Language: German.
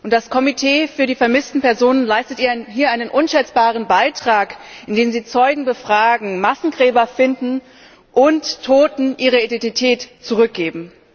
Das Komitee für die vermissten Personen leistet hier einen unschätzbaren Beitrag, indem sie Zeugen befragen, Massengräber finden und Toten ihre Identität zurückgeben.